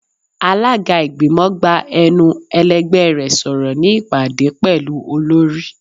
Alaga igbimọ gbá enú elẹgbẹ rẹ sọrọ ni ipade pẹlu olori.